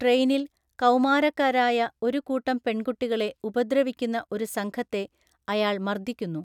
ട്രെയിനിൽ, കൗമാരക്കാരായ ഒരു കൂട്ടം പെൺകുട്ടികളെ ഉപദ്രവിക്കുന്ന ഒരു സംഘത്തെ അയാൾ മർദ്ദിക്കുന്നു.